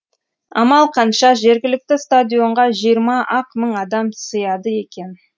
амал қанша жергілікті стадионға жиырма ақ мың адам сыяды екен